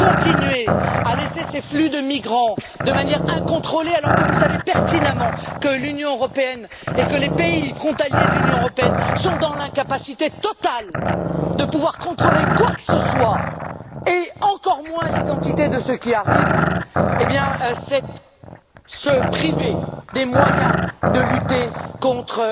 Continuer à laisser ces flux de migrants de manière incontrôlée alors que vous savez pertinemment que l'Union et que les pays frontaliers de l'Union sont dans l'incapacité totale de pouvoir contrôler quoi que ce soit, et encore moins l'identité de ceux qui arrivent, revient à se priver des moyens de lutter contre